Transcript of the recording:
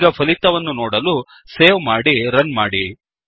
ಈಗ ಫಲಿತವನ್ನು ನೋಡಲು ಸೇವ್ ಮಾಡಿ ರನ್ ಮಾಡಿ